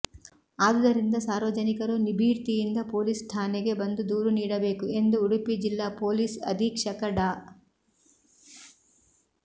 ಆದುದರಿಂದ ಸಾರ್ವಜನಿಕರು ನಿಭೀರ್ತಿಯಿಂದ ಪೊಲೀಸ್ ಠಾಣೆಗೆ ಬಂದು ದೂರು ನೀಡಬೇಕು ಎಂದು ಉಡುಪಿ ಜಿಲ್ಲಾ ಪೊಲೀಸ್ ಅಧೀಕ್ಷಕ ಡಾ